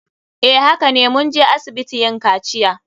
Eh hakane. Mun je asibiti yin kaciya.